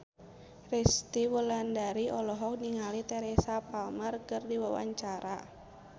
Resty Wulandari olohok ningali Teresa Palmer keur diwawancara